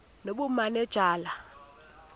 nobumanejala